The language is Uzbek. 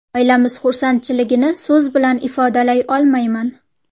Oilamiz xursandchiligini so‘z bilan ifodalay olmayman.